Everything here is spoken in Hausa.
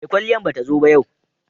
mai kwalliyan ba ta zo ba yau